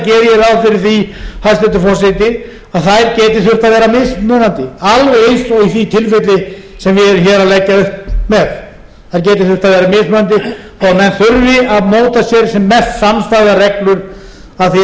ráð fyrir því hæstvirtur forseti að þær geti þurft að vera mismunandi alveg eins og í því tilfelli sem við erum hér að leggja upp með þær geti þurft að vera mismunandi og að menn þurfi að móta sér